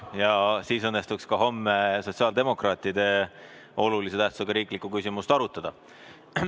Ja siis õnnestuks ka homme sotsiaaldemokraatide olulise tähtsusega riiklikku küsimust arutada.